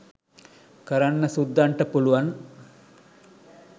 කරන්න සුද්දන්ට පුළුවන්